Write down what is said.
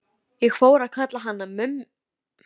Ég fór að kalla hann Mumma Stúss.